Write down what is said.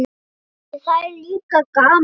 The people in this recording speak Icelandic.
En það er líka gaman.